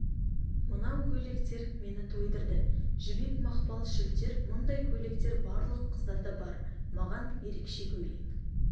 мынау көйлектер мені тойдырды жібек мақпал шілтер мұндай көйлектер барлық қыздарда бар маған ерекше көйлек